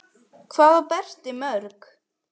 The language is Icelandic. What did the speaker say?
Hvað á Berti mörg?